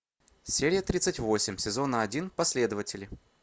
серия тридцать восемь сезона один последователи